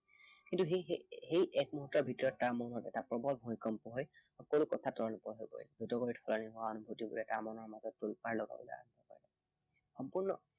কিন্তু সেই সেই এক মুহুৰ্তৰ ভিতৰত তাৰ মনত এটা প্ৰৱল ভূমিকম্প হৈ সকলো কথা তল ওপৰ হৈ পৰিল। সেইটো সময়ত হৈ তাৰ মনৰ মাজত তোলপাৰ লগাবলৈ আৰম্ভ কৰিলে। সম্পূৰ্ণ